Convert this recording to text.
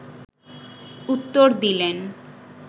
উত্তর দিলেন